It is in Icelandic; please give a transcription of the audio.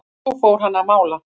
Svo fór hann að mála.